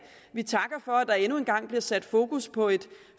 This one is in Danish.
vi takker for at der endnu en gang bliver sat fokus på et